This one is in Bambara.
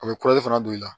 A bɛ fana don i la